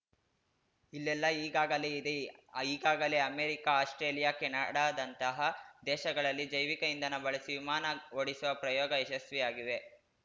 ಇಲ್ಲೆಲ್ಲಾ ಈಗಾಗಲೇ ಇದೆ ಈಗಾಗಲೇ ಅಮೆರಿಕ ಆಸ್ಪ್ರೇಲಿಯಾ ಕೆನಡಾದಂತಹ ದೇಶಗಳಲ್ಲಿ ಜೈವಿಕ ಇಂಧನ ಬಳಸಿ ವಿಮಾನ ಓಡಿಸುವ ಪ್ರಯೋಗ ಯಶಸ್ವಿಯಾಗಿವೆ